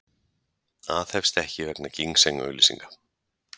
Aðhefst ekki vegna ginseng auglýsinga